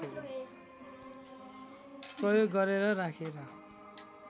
प्रयोग गरेर राखेर